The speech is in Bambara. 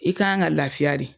I k'an ka ka lafiya de.